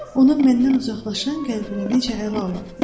Onun məndən uzaqlaşan qəlbini necə ələ alım?